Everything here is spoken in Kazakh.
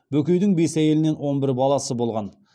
бөкейдің бес әйелінен он бір баласы болған